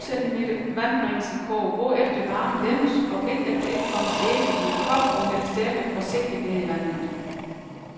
Fem centimeter vand bringes i kog, hvorefter varmen dæmpes, og et efter et kommes æggene i en kop, og hældes derefter forsigtigt ned i vandet.